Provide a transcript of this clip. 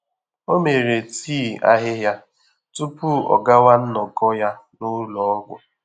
Ọ́ mèrè tii àhị́hị́à túpù ọ́ gàwá nnọ́kọ́ yá n’ụ́lọ́ ọ́gwụ́.